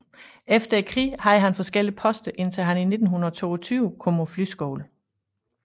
Efter krigen havde han forskellige poster indtil han i 1922 kom på flyskole